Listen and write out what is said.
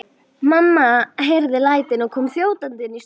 Mamma heyrði lætin og kom þjótandi inn í stofu.